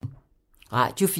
Radio 4